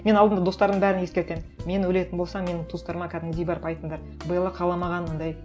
мен алдында достарым бәрін ескертем мен өлетін болсам менің туыстарыма кәдімгідей барып айтыңдар белла қаламаған ондай